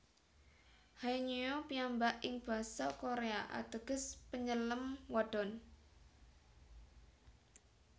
Haenyeo piyambak ing basa Korea ateges Penyelem Wadon